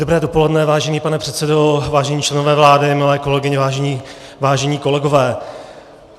Dobré dopoledne, vážený pane předsedo, vážení členové vlády, milé kolegyně, vážení kolegové.